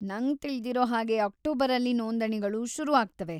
ನಂಗ್‌ ತಿಳ್ದಿರೋ ಹಾಗೆ ಅಕ್ಟೋಬರಲ್ಲಿ ನೋಂದಣಿಗಳು ಶುರು ಆಗ್ತವೆ.